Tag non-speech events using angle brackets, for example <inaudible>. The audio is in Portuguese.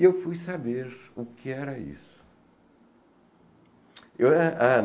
E eu fui saber o que era isso. <unintelligible>